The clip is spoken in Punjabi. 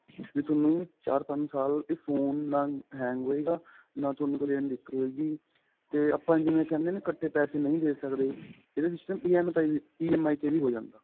ਇਹ ਤੁਹਾਨੂੰ ਚਾਰ ਪੰਜ ਸਾਲ ਇਹ phone ਨਾ hang ਹੋਏਗਾ ਨਾ ਤੁਹਾਨੂੰ ਕਦੇ ਦਿਕਤ ਹੋਏਗੀ ਤਾ ਆਪਾਂ ਜਿਵੇਂ ਕਹਿੰਦੇ ਆ ਨਾ ਇਕੱਠੇ ਪੈਸੇ ਨਹੀਂ ਦੇ ਸਕਦੇ ਇਹਦਾ system EMI ਤੇ ਵੀ ਹੋ ਜਾਂਦਾ